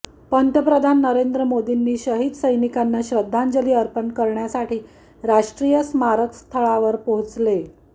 पंतप्रधान नरेंद्र मोदींनी शहीद सैनिकांना श्रद्धांजली अर्पण करण्यासाठी राष्ट्रीय स्मारक स्थळावर पोहोचले